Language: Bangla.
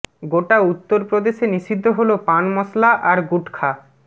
গোটা উত্তর প্রদেশে নিষিদ্ধ হল পান মশালা আর গুটখা